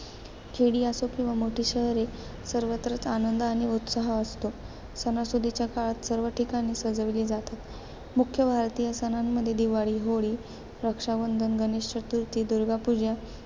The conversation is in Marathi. खेडी असो किंवा मोठी शहरे, सर्वत्रच आनंद आणि उत्साह असतो. सणासुदीच्या काळात सर्व ठिकाणे सजविली जातात. मुख्य भारतीय सणांमध्ये दिवाळी, होळी, रक्षाबंधन, गणेश चतुर्थी, दुर्गा पूजा,